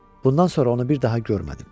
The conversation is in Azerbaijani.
Bundan sonra onu bir daha görmədim.